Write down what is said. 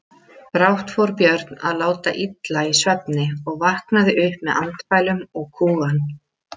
Brátt fór Björn að láta illa í svefni og vaknaði upp með andfælum og kúgan.